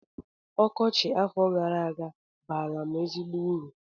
Ọkọchị afọ gara aga baara m ezigbo uru